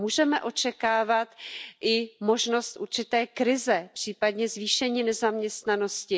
Můžeme očekávat i možnost určité krize, případně zvýšení nezaměstnanosti.